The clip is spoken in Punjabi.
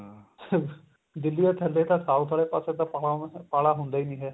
ਦਿੱਲੀ ਵਾਲੇ ਥੱਲੇ ਤਾਂ south ਵਾਲੇ ਪਾਸੇ ਤਾਂ ਪਾਲਾ ਪਾਲਾ ਹੁੰਦਾ ਹੀ ਨੀ ਏ